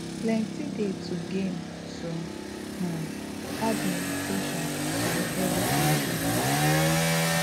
plenty dey to gain to um add meditation to ur everyday doings